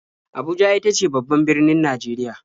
Abuja ita ce babban birnin Najeriya.